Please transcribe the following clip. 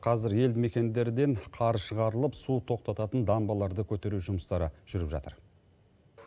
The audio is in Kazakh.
қазір елді мекендерден қар шығарылып су тоқтататын дамбаларды көтеру жұмыстары жүріп жатыр